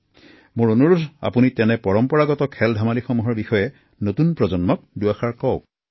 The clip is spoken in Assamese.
মোৰ অনুৰোধ আপুনি এনে পৰম্পৰাগত খেলধেমালিৰ কথা নতুন প্ৰজন্মক দুআষাৰ কওক